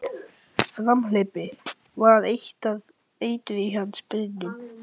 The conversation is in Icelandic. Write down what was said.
Framhleypni var eitur í hans beinum.